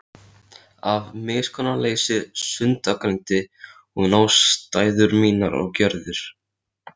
Af miskunnarleysi sundurgreindi hún ástæður mínar og gjörðir.